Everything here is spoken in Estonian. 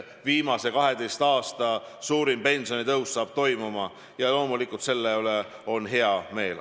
Viimase 12 aasta suurim pensionitõus saab toimuma ja loomulikult selle üle on hea meel.